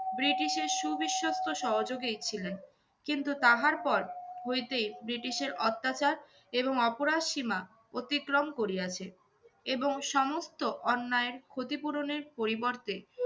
ব্রিটিশের সু-বিশ্বস্ত সহযোগীই ছিলেন। কিন্তু তাহার পর হইতে ব্রিটিশের অত্যাচার এবং অপরাধ সীমা অতিক্রম করিয়াছে। এবং সমস্ত অন্যায়ের ক্ষতিপূরণের পরিবর্তে